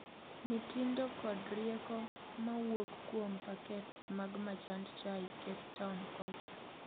Mitindo kod rieko mawuok kuom pakets mag majand chai Cape Town kocha